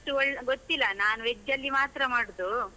ಅಷ್ಟು ಗೊತ್ತಿಲ್ಲ, ನಾನು veg ಅಲ್ಲಿ ಮಾತ್ರ ಮಾಡುದು.